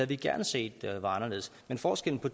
vi gerne set var anderledes men forskellen på